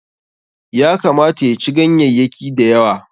Ya kamata ya ci ganyayyaki da yawa.